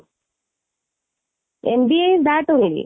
MBA is that only